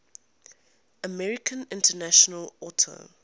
american international auto